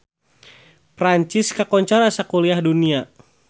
Perancis kakoncara sakuliah dunya